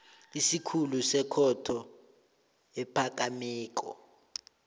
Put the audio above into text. isikhulu sekhotho ephakemeko